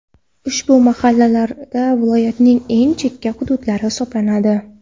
Ushbu mahallalar viloyatning eng chekka hududlari hisoblanadi.